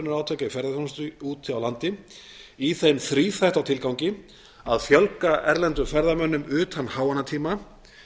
í ferðaþjónustu úti á landi í þeim þríþætta tilgangi að fjölga erlendum ferðamönnum utan háannatíma